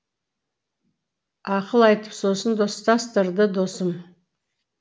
ақыл айтып сосын достастырды досым